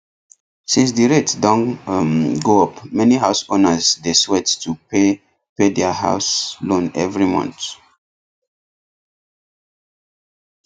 since the rate don um go up many house owners dey sweat to pay pay their house loan every month